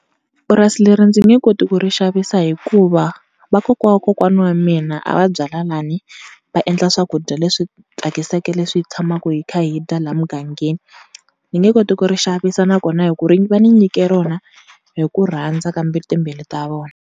Purasi leri ndzi nge koti ku ri xavisa hikuva vakokwana wa kokwana wa mina a va byala lani, va endla swakudya leswi tsakisaka leswi tshamaka hi kha hi dya laha mugangeni. Ni nge koti ku ri xavisa nakona hi ku ri va ni nyike rona hi ku rhandza ka timbilu ta vona.